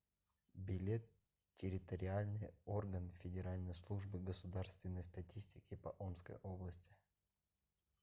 билет территориальный орган федеральной службы государственной статистики по омской области